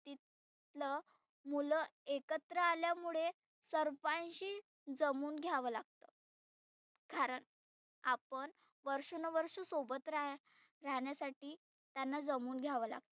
ल मुलं एकत्र आल्यामुळे सर्पांशी जमुन घ्यावं लागतं. कारण आपण वर्षानु वर्ष सोबत रहा राहण्यासाठी त्यांना जमुन घ्यावं लागतं.